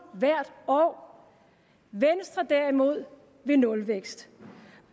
hvert år venstre derimod vil nulvækst